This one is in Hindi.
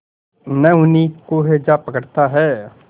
न उन्हीं को हैजा पकड़ता है